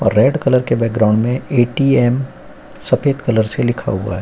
और red colour के background में ए.टी.एम. सफेद कलर से लिखा हुआ है।